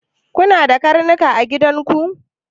Kuna da karnuka a gidan ku?